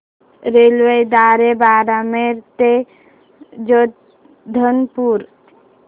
रेल्वेद्वारे बारमेर ते जोधपुर